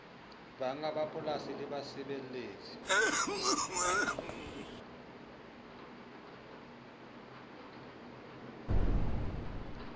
bannga ba mapolasi le basebeletsi